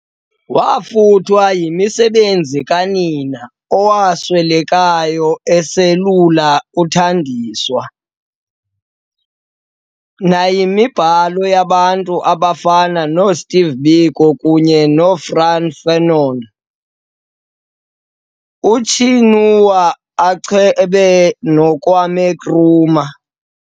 Waafuthwa yimisebenzi kanina, owaswelekayo eselula uthandiswa, nayimibhalo yabantu abafana noo Steve Biko kunye noFrantz Fanon, uChinua Achebe noKwame Nkrumah.